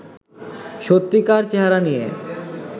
সত্যিকার চেহারা নিয়ে